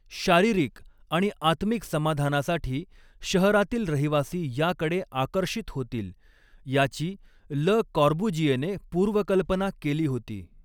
शारीरिक आणि आत्मिक समाधानासाठी शहरातील रहिवासी याकडे आकर्षित होतील, याची ल कॉर्बुजिएने पूर्वकल्पना केली होती.